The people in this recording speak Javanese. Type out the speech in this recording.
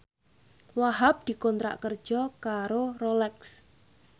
Wahhab dikontrak kerja karo Rolex